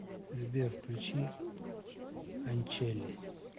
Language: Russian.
сбер включи анчели